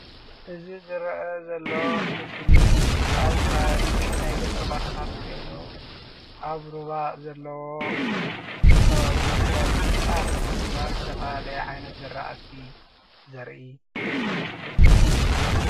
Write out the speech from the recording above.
እዚ ዝረአ ዘሎ ምስሊ ኣብ ከባቢ ናይ ገጠር ቦታታት ኮይኑ ኣብ ሩባ ዘለዎ ከባቢ ክረምቲ ጣፍ እና ዝተፈላለየ ዓይነት ዝራእቲ ዘርኢ ምሰሊ እዩ።